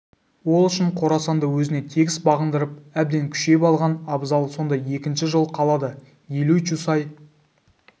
ол үшін қорасанды өзіне тегіс бағындырып әбден күшейіп алған абзал сонда екінші жол қалады елуй чусай